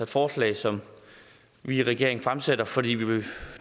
forslag som vi i regeringen fremsætter fordi